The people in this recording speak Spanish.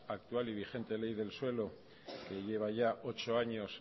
actual y vigente ley del suelo que lleva ya ocho años